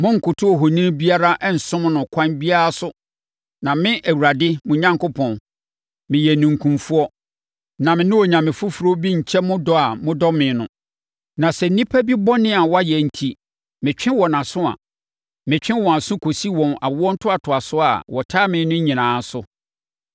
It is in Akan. Monnkoto ohoni biara nsom no ɛkwan biara so, na me, Awurade mo Onyankopɔn, meyɛ ninkunfoɔ. Na me ne onyame foforɔ bi nkyɛ mo dɔ a modɔ me no. Na sɛ nnipa bi bɔne a wayɛ enti metwe wɔn aso a, metwe wɔn aso kɔsi wɔn awontoatoasoɔ a wɔtan me no nyinaa so.